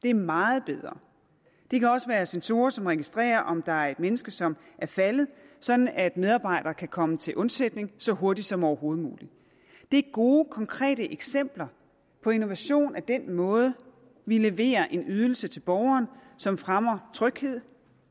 er meget bedre det kan også være sensorer som registrerer om der er et menneske som er faldet sådan at medarbejdere kan komme vedkommende til undsætning så hurtigt som overhovedet muligt det er gode konkrete eksempler på innovation med den måde vi leverer en ydelse til borgeren som fremmer tryghed